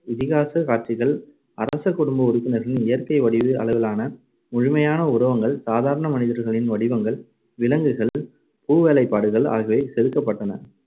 இதிகாசக் காட்சிகள் அரசகுடும்ப உறுப்பினர்களின் இயற்கை வடிவ அளவிலான முழுமையான உருவங்கள், சாதாரண மனிதர்களின் வடிவங்கள், விலங்குகள், பூவேலைப்பாடுகள் ஆகியவை செதுக்கப்பட்டன.